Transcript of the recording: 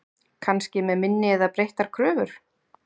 Kannski með minni eða breyttar kröfur?